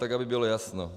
Tak aby bylo jasno.